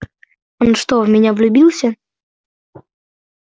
он что в меня влюбился